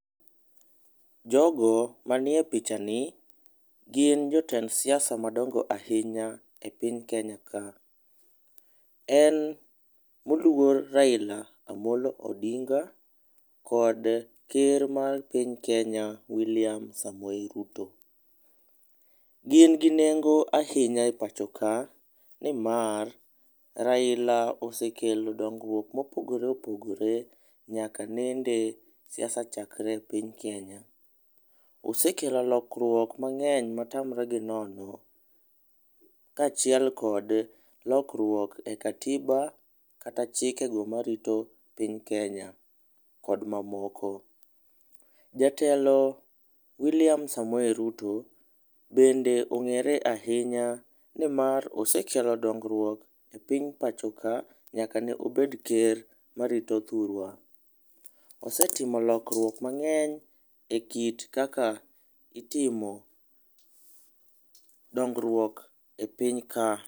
Jo go ma ni e pichani gin jotend siasa madongo ahinya e piny Kenya ka. en moluor Raila Amollo Odinga kod ker mar piny Kenya William Samoei Ruto. Gin gi nengo ahinya e pacho ka ni mar Raila osekelo dongruok ma opogore opogore nyaka nende siasa chakre e piny Kenya. Osekelo lokruok ma ng'eny ma tamre gi nono ka achiel kod lokruok e katiba kata chike go ma rito piny Kenya kod mamoko. Jatelo William Samoei Ruto bende ong'ere ahinya ni mar osekelo dongruok e piny pacho ka nyaka ne obed ker ma rito thurwa. Osetimo lokruok mang'eny e kit kaka itimo dongruok e piny ka.